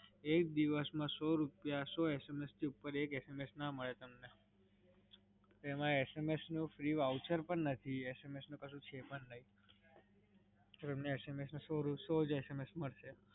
એક દિવસ માં સો રૂપિયા, સો SMS થી ઉપર એક SMS ના મળે તમને. એમાં SMS નું free voucher પણ નથી, SMS નું કશું છે પણ નહીં. તમને સો જ SMS મલસે.